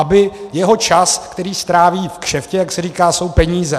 Aby jeho čas, který stráví v kšeftě, jak se říká, jsou peníze.